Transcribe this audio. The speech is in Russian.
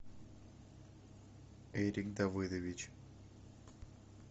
эрик давидович